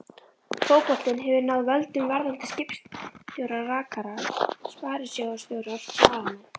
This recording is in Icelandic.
Fótboltinn hefur náð völdum: verðandi skipstjórar, rakarar, sparisjóðsstjórar, blaðamenn.